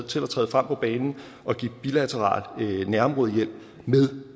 til at træde frem på banen og give bilateral nærområdehjælp med